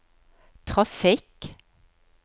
trafikk